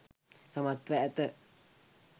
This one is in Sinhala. සමත්ව ඇත.